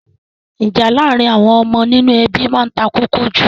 Ìjà àárín àwon ọmọ nínú ebí ma n takókó jù